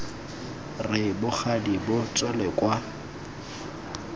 re bogadi bo tswele kwa